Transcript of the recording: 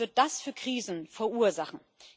Was wird das für Krisen verursachen!